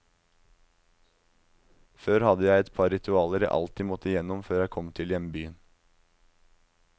Før hadde jeg et par ritualer jeg alltid måtte igjennom når jeg kom til hjembyen.